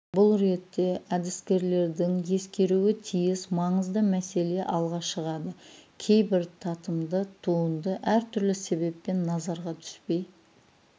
бұл ретте әдіскерлердің ескеруі тиіс маңызды мәселе алға шығады кейбір татымды туынды әртүрлі себеппен назарға түспей